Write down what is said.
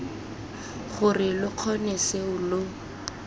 gore lo kgone seo lo